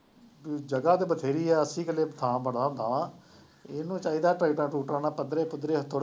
ਜਗ੍ਹਾ ਤਾਂ ਬਥੇਰੀ ਹੈ, ਅੱਸੀ ਕਿੱਲੇ ਥਾਂ ਬੜਾ ਹੁੰਦਾ, ਇਹਨੂੰ ਚਾਹੀਦਾ ਟੈਕਟਰਾਂ ਟਰੂਕਟਰਾਂ ਨਾਲ ਪੱਧਰੇ ਪੁੱਧਰੇ